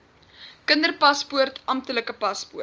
kinderpaspoort amptelike paspoort